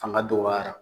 Fanga dɔgɔya